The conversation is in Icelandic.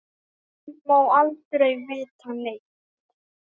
Hún má aldrei vita neitt.